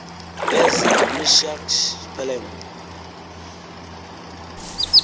eza meshach pelem